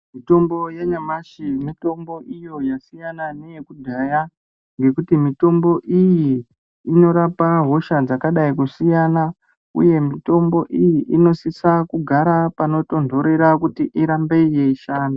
Mitombo yanyamashi, mitombo iyo yasiyana neyekudhaya, ngekuti mitombo iyi inorapa hosha dzakadai kusiyana, uye mitombo iyi inosisa kugara panotonthorera kuti irambe yeishanda.